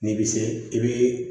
N'i bɛ se i bɛ